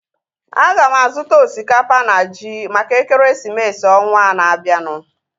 Aga m azuta osikapa na ji maka ekeresimesi ọnwaa na-abianu